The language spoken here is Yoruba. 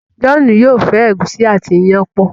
John yóò fẹ egusi àti iyán pọ